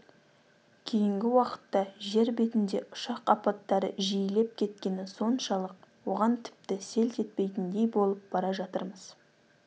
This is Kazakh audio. кейінгі уақытта жер бетінде ұшақ апаттары жиілеп кеткені соншалық оған тіпті селт етпейтіндей болып бара жатырмыз